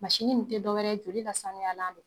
Masini nin te dɔ wɛrɛ joli ka sanuyalan do.